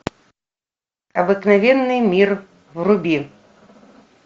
обыкновенный мир вруби